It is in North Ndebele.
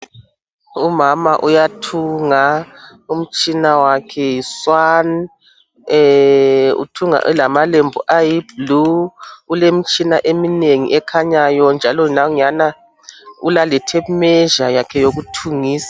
Umama uyathunga umtshina wakhe yi Swan. Eeeh! uthunga elamalebhu ayi Blue lemtshina eminengi ekhanyayo njalo ulale tape measure yakhe youkuthungisa.